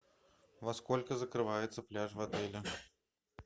во сколько закрывается пляж в отеле